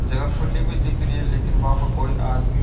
जगह खुली हुई दिख रही है लेकिन बा पे कोई आदमी --